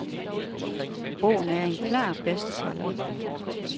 Bogen er en klar bestseller.